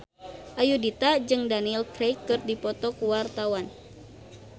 Ayudhita jeung Daniel Craig keur dipoto ku wartawan